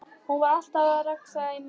Hún var alltaf að rexa í mömmu.